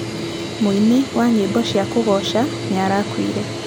Mũini wa nyĩmbo cia kũgooca nĩarakuire.